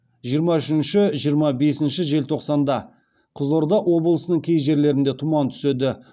жиырма үшңнші жиырма бесінші желтоқсанда қызылорда облысының кей жерлерінде тұман түседі